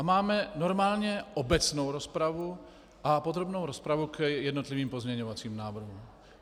A máme normálně obecnou rozpravu a podrobnou rozpravu k jednotlivým pozměňovacím návrhům.